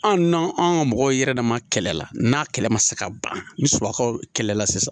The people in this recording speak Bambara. An n'an ka mɔgɔw yɛrɛ dama kɛlɛ la n'a kɛlɛ ma se ka ban ni sumankaw kɛlɛla sisan